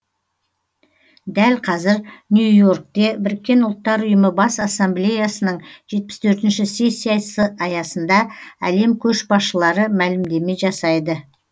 дәл қазір нью йоркте біріккен ұлттар ұйымы бас ассамблеясының жетпіс төртінші сессиясы аясында әлем көшбасшылары мәлімдеме жасайды